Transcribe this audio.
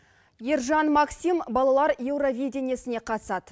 ержан максим балалар еуровидениесіне қатысады